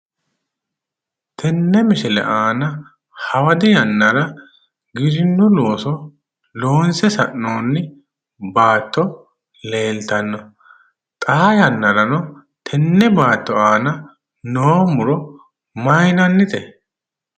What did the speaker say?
Tenne misile aana hawadi yannara giwirinnu looso loonse sa'noonni baatto leeltanno. xaa yannaranno tenne baatto aana noo muro mayiinannite?